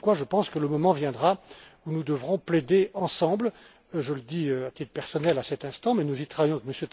les autres. Voilà pourquoi je pense que le moment viendra où nous devrons plaider ensemble je le dis à titre personnel à cet instant, mais nous y travaillons